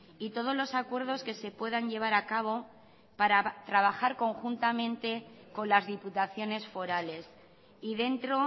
y todos los acuerdos que se puedan llevar a cabo para trabajar conjuntamente con las diputaciones forales y dentro